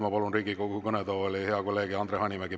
Ma palun Riigikogu kõnetooli hea kolleegi Andre Hanimäe.